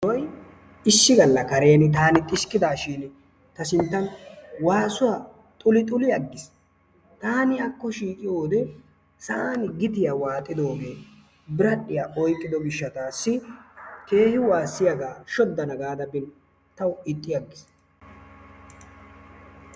Issi gala karen taani xiskkidaashin ta sinttan kiyidi waasuwa xulixuli agiis, taani akko shiiqiyode sa'aani gittiya waaxidogee biradhiya oyqiddo gishataaassi keehin waasiyaya shodana gaada bin tawu ixxi agiis.